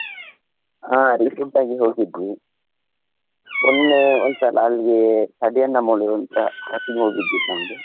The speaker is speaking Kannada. ಹಾ, recent ಆಗಿ ಹೋಗಿದ್ವಿ ಮೊನ್ನೆ ಒಂದ್ಸಲ ಅಲ್ಲಿ ಕಡಿಯನ್ನ ಮೌಳಿಗೆ .